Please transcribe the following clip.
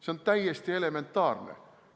See on täiesti elementaarne.